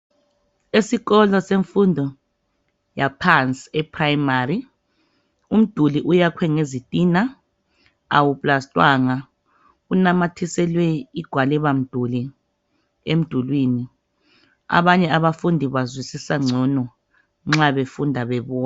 Esikolo semfundo yaphansi eprimary umduli uyakhwe ngezitina awusindwanga unamathiselwe igwalibamduli emdulwini abanye abafundi bazwisisa ngcono nxa befunda bebona.